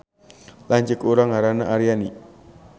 Lanceuk urang ngaranna Aryani